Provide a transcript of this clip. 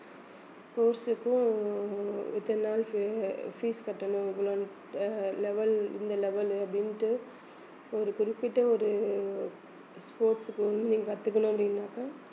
sports க்கும் இத்தனை நாள்க்கு fees கட்டணும் இவ்வள~ அஹ் level இந்த level அப்படின்ட்டு ஒரு குறிப்பிட்ட ஒரு sports க்கு வந்து நீங்க கத்துக்கணும் அப்படின்னாக்கா